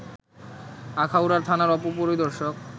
আখাউড়ার থানার উপপরিদর্শক